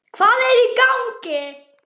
HVAÐ ER Í GANGI??